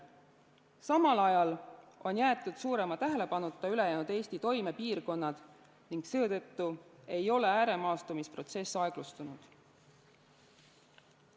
Samal ajal on jäetud suurema tähelepanuta ülejäänud Eesti toimepiirkonnad ning seetõttu ei ole ääremaastumise protsess aeglustunud.